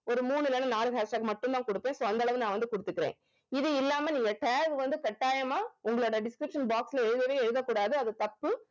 ஒரு மூணுல இருந்து நாலு hashtag மட்டும் தான் குடுப்பேன் so அந்தளவு நான் வந்து குடுத்துக்கிறேன் இது இல்லாம நீங்க tag வந்து கட்டாயமா உங்களுடைய description box ல எழுதவே எழுத கூடாது அது தப்பு